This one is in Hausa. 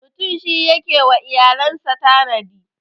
Mutum shi ke yi wa iyalan sa tanadi.